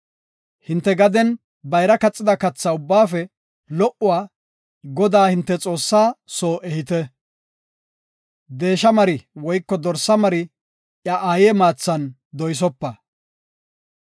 Hinte gaden bayra kaxida katha ubbaafe lo77uwa Godaa, hinte Xoossaa soo ehite. Deesha mari woyko dorsa mari iya aaye maathan doysopa.